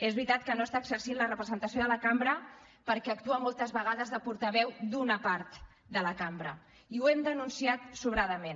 és veritat que no està exercint la representació de la cambra perquè actua moltes vegades de portaveu d’una part de la cambra i ho hem denunciat sobradament